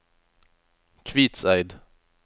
Kvitseid